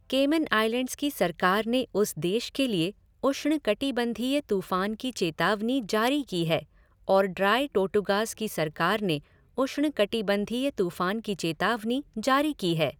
Cayman Islands की सरकार ने उस देश के लिए उष्णकटिबंधीय तूफान की चेतावनी जारी की है और ड्राई टोर्टुगास की सरकार ने उष्णकटिबंधीय तूफान की चेतावनी जारी की है।